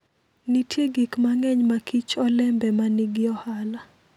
Nitie gik mang'eny ma Kich olembe ma nigi ohala.